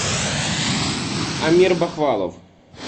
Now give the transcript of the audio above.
амир бахвалов